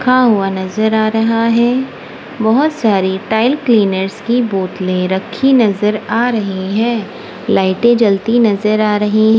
खा हुआ नजर आ रहा है बहोत सारी टाइल क्लीनर्स की बोतलें रखी नजर आ रही है लाइटें जलती नजर आ रही--